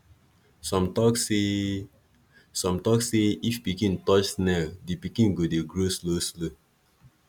some tok say some tok say if pikin touch snail di pikin go dey grow slow slow